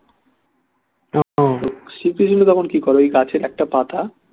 শ্রীকৃষ্ণ তখন কি করে ওই গাছের একটা পাতা